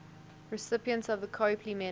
recipients of the copley medal